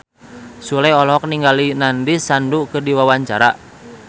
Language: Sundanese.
Sule olohok ningali Nandish Sandhu keur diwawancara